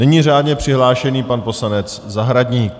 Nyní řádně přihlášený pan poslanec Zahradník.